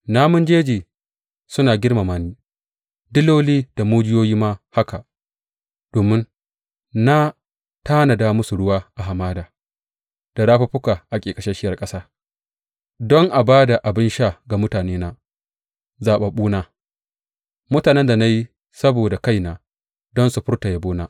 Namun jeji suna girmama ni, diloli da mujiyoyi ma haka, domin na tanada musu ruwa a hamada da rafuffuka a ƙeƙasasshiyar ƙasa, don a ba da abin sha ga mutanena, zaɓaɓɓuna, mutanen da na yi saboda kaina don su furta yabona.